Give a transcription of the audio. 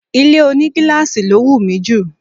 Ilé ònígíláàsì ló wù mí jù